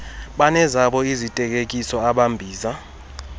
banezabo iziteketiso abambiza